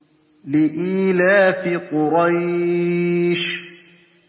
لِإِيلَافِ قُرَيْشٍ